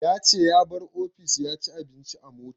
Ya ce ya bar office ya ci abinci a mota